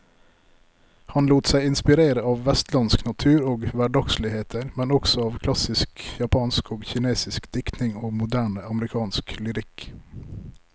Han lot seg inspirere av vestlandsk natur og hverdagsligheter, men også av klassisk japansk og kinesisk diktning og moderne amerikansk lyrikk.